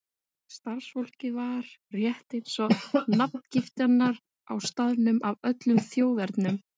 Starfsfólkið var, rétt eins og nafngiftirnar á staðnum, af öllum þjóðernum.